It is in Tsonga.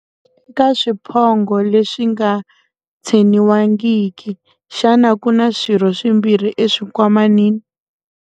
Eka swiphongho leswi nga tsheniwangiki, xana ku na swirho swimbirhi eswinkwamanini?